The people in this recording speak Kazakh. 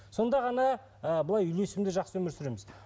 сонда ғана ы былай үйлесімді жақсы өмір сүреміз